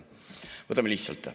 Võtame lihtsalt.